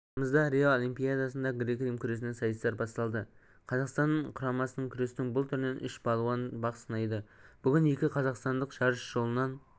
тамызда рио олимпиадасында грек-рим күресінен сайыстар басталды қазақстан құрамасынанан күрестің бұл түрінен үш балуан бақ сынайды бүгін екі қазақстандық жарыс жолынан